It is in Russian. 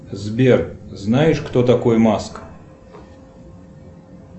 сбер знаешь кто такой маск